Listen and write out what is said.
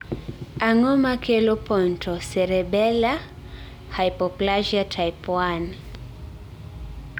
Ang'o makelo pontocerebellar hypoplasia type 1?